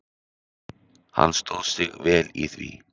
Hann stóð sig vel í því.